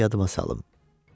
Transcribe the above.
Qoy yadıma salım.